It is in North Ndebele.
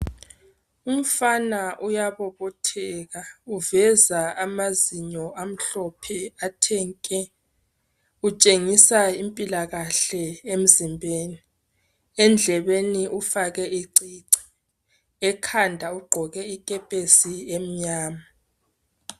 Umfana uyabobotheka uveza amazinyo amhlophe athe nke kutshengisa impilakahle emzimbeni Endlebeni ufake icici ekhanda ugqoke ikepesi emnyama